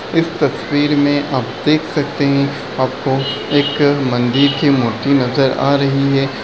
इस तस्वीर में आप देख सकते हैं आपको एक मंदिर की मूर्ति नजर आ रही है।